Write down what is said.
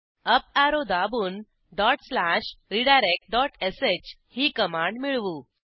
up arrow दाबून dot slash redirect dot श ही कमांड मिळवू